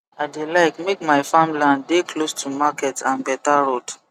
i dey like make my farmland dey close to market and beta road